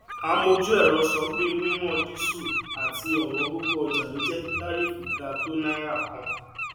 amọju ẹrọ sọ pé wíwọn dísù àti òwóngógó ọjà ló jẹ kí tàríífù ga tó náírà kan